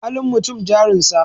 Halin mutum jarin sa.